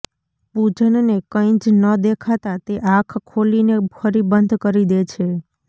પૂજનને કંઈ જ ન દેખાતા તે આંખ ખોલીને ફરી બંધ કરી દે છે